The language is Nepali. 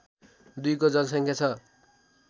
२ को जनसङ्ख्या छ